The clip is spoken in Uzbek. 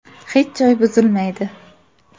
Hech joy buzilmaydi.